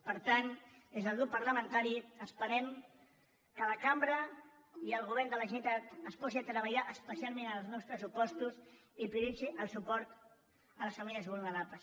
per tant des del grup parlamentari esperem que la cambra i el govern de la generalitat es posin a treballar especialment en els nous pressupostos i prioritzin el suport a les famílies vulnerables